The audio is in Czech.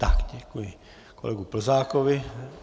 Tak, děkuji kolegu Plzákovi.